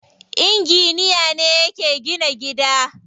Inginiya ne yake gina gida.